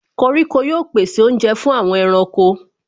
Koríko yóò pèsè oúnjẹ fún àwọn ẹranko.